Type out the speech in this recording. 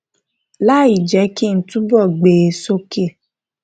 láì jẹ kí n túbọ gbé e soke